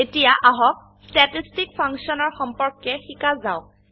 এতিয়া আহক ষ্টেটিষ্টিক ফাংছনৰ সম্পৰ্কে শিকা যাওক